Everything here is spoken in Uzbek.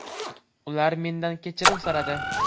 Ular mendan kechirim so‘radi.